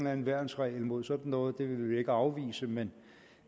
anden værnsregel mod sådan noget det vil vi ikke afvise men